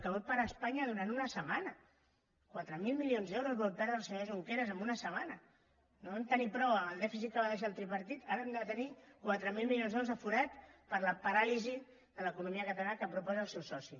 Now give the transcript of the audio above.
que vol parar espanya durant una setmana quatre mil milions d’euros vol perdre el senyor junqueras en una setmana no en tenim prou amb el dèficit que va deixar el tripartit ara hem de tenir quatre mil milions d’euros al forat per la paràlisi de l’economia catalana que proposa el seu soci